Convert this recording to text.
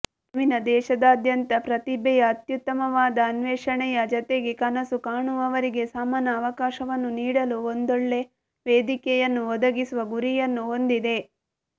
Femina ದೇಶದಾದ್ಯಂತ ಪ್ರತಿಭೆಯ ಅತ್ಯುತ್ತಮವಾದ ಅನ್ವೇಷಣೆಯ ಜತೆಗೆ ಕನಸು ಕಾಣುವವರಿಗೆ ಸಮಾನಅವಕಾಶವನ್ನು ನೀಡಲು ಒಂದೊಳ್ಳೆ ವೇದಿಕೆಯನ್ನು ಒದಗಿಸುವ ಗುರಿಯನ್ನು ಹೊಂದಿದೆ